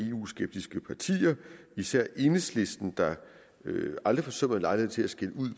eu skeptiske partier og især enhedslisten der aldrig forsømmer en lejlighed til at skælde ud